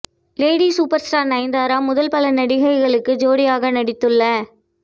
lady super star Nayanthara முதல் பல நடிகைகளுக்கு ஜோடியாக நடித்துள்ள